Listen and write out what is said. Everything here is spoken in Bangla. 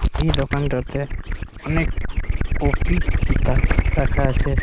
এই দোকানটাতে অনেক কপি কিতাব রাখা আছে।